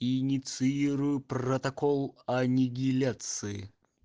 инициирую протокол аннигиляции